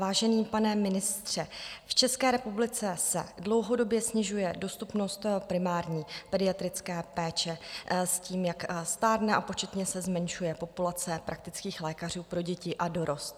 Vážený pane ministře, v České republice se dlouhodobě snižuje dostupnost primární pediatrické péče s tím, jak stárne a početně se zmenšuje populace praktických lékařů pro děti a dorost.